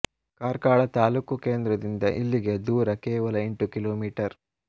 ಕಾರ್ಕಳ ತಾಲೂಕು ಕೇಂದ್ರದಿಂದ ಇಲ್ಲಿಗೆ ದೂರ ಕೇವಲ ಎಂಟು ಕಿ ಮೀ